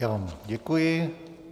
Já vám děkuji.